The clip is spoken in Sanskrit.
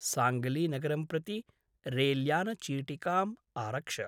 साङ्ग्लीनगरं प्रति रैल्यानचीटिकाम् आरक्ष।